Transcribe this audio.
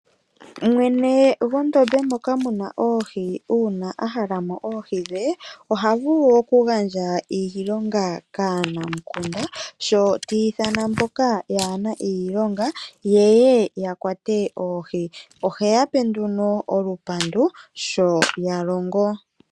Mwene gwondome moka muna oohi uuna ahala mo oohi dhe, oha vulu okugandja iilonga kaanamukunda, sho ta ithana mboka yaana iilonga ye ye yakwate oohi, ohe yape nduno olupandu sho yalongo.